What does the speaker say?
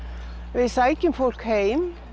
við sækjum fólk heim